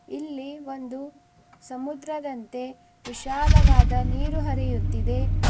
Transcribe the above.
ಇಲ್ಲಿ ಒಂದು ಸಮುದ್ರದಂತೆ ವಿಶಾಲವಾದ ನೀರು ಹರಿಯುತ್ತಿದೆ.